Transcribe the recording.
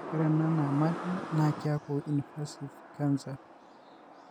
Ore ena nayamali na kiaku invasive cancer.